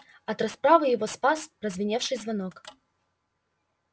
от расправы его спас прозвеневший звонок